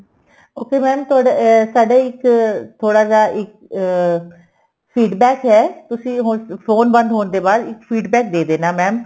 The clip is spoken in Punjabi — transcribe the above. okay mam ਤੁਹਡਾ ਸਾਡਾ ਇੱਕ ਥੋੜਾ ਜਾ ਇੱਕ ਅਹ feed back ਏ ਤੁਸੀਂ ਹੁਣ phone ਬੰਦ ਹੋਣ ਦੇ ਬਾਅਦ feed back ਦੇ ਦੇਣਾ mam